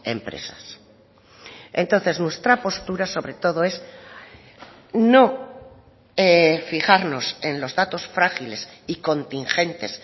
empresas entonces nuestra postura sobre todo es no fijarnos en los datos frágiles y contingentes